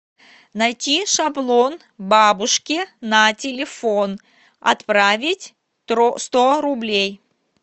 найти шаблон бабушке на телефон отправить сто рублей